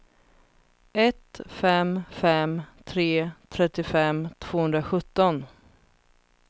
ett fem fem tre trettiofem tvåhundrasjutton